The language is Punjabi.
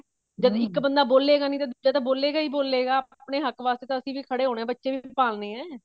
ਜਦ ਇੱਕ ਬੰਦਾ ਬੋਲੇਗਾ ਨੀ ਤਾਂ ਦੂਜਾ ਤਾਂ ਬੋਲੇਗਾ ਹੀ ਬੋਲੇਗਾ ਆਪਣੇ ਹੱਕ ਵਾਸਤੇ ਤਾਂ ਅਸੀਂ ਵੀ ਹੁਣ ਖੜੇ ਹੋਣਾ ਬੱਚੇ ਵੀ ਪਾਲਨੇ ਆ